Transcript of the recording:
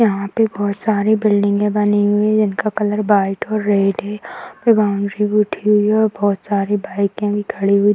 यहाँ पे बहुत सारे बिल्डिंगे बनी हुई है जिनका कलर वाइट और रेड है और बॉउंड्री भी दि हुई है और बहुत सारे बाइके भी खड़ी हुई।